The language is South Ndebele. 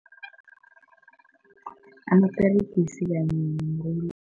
Amaperegisi kanye